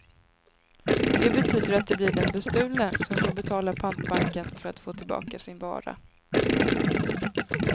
Det betyder att det blir den bestulne som får betala pantbanken för att få tillbaka sin vara.